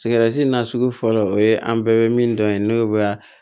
Sigɛrɛti na sugu fɔlɔ o ye an bɛɛ bɛ min dɔn yen n'o ye